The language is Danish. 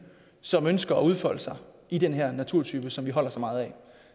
som ønsker at udfolde sig i den her naturtype som vi holder så meget af